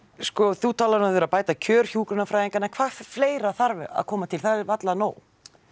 þú talar um að það þurfi að bæta kjör hjúkrunarfræðinga en hvað fleira þarf að koma til það er varla nóg